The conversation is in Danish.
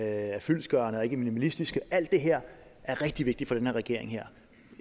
er fyldestgørende og ikke minimalistiske alt det her er rigtig vigtigt for den her regering